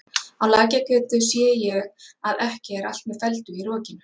Á Lækjargötu sé ég að ekki er allt með felldu í rokinu.